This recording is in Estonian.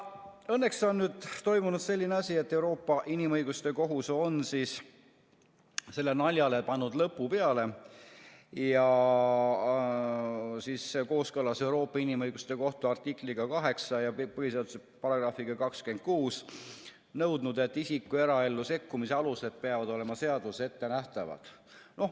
Õnneks on toimunud selline asi, et Euroopa Inimõiguste Kohus on sellele naljale lõpu teinud, ja kooskõlas Euroopa Inimõiguste Kohtu artikliga 8 ja põhiseaduse §-ga 26 nõudnud, et isiku eraellu sekkumise alused peavad olema seaduses ette nähtavad.